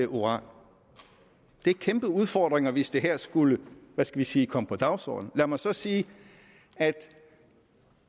uran det er kæmpe udfordringer hvis det her skulle hvad skal vi sige komme på dagsordenen lad mig så sige at